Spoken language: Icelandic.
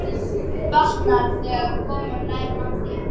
Batnar, þegar komum nær landi.